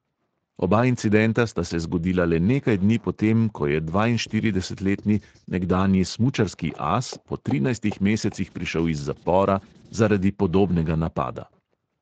Oba incidenta sta se zgodila le nekaj dni potem, ko je dvainštiridesetletni nekdanji smučarski as po trinajstih mesecih prišel iz zapora zaradi podobnega napada.